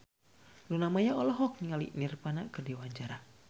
Luna Maya olohok ningali Nirvana keur diwawancara